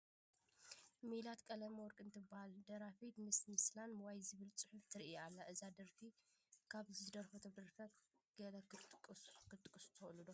ሜላት ቀለመወርቅ ትበሃል ደራፊት ምስ ምስላን ዋይ ዝብል ፅሑፍን ትርአ ኣላ፡፡ እዛ ደራፊት ካብ ዝደረፈቶም ደርፍታት ገለ ክትጠቕሱ ትኽእሉ ዶ?